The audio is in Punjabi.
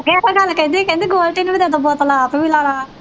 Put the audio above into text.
ਇੱਕ ਗੱਲ ਕਹਿੰਦੀ ਕਹਿੰਦੀ ਗੋਲਡੀ ਨੂੰ ਵੀ ਦੇ ਦਓ ਬੋਤਲ ਆਪ ਵੀ ਲਾ ਲਾ